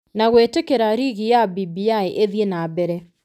Na gwĩtĩkĩria rege ya BBI ĩthiĩ na mbere.